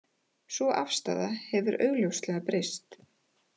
Sú afstaða hefur augljóslega breyst